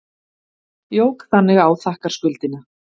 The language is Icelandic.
Jók þannig á þakkarskuldina.